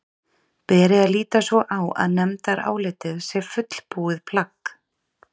Beri að líta svo á að nefndarálitið sé fullbúið plagg?